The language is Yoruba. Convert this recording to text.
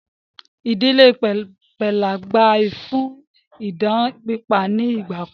Ìdílé pẹ́là gbà yìí fún idán pípa ni ìgbàkan